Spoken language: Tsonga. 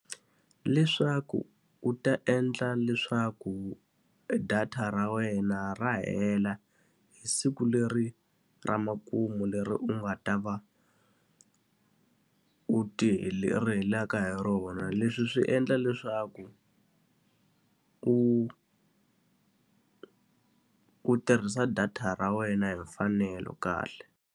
Leswaku u ta endla leswaku e data ra wena ra hela hi siku leri ra makumu leri u nga ta va u ti ri helaka hi rona. Leswi swi endla leswaku u u tirhisa data ra wena hi mfanelo kahle.